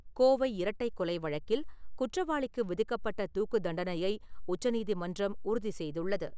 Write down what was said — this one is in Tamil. கோவை இரட்டைக் கொலை வழக்கில் குற்றவாளிக்கு விதிக்கப்பட்ட தூக்குத் தண்டனையை உச்ச நீதிமன்றம் உறுதி செய்துள்ளது.